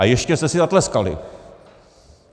A ještě jste si zatleskali.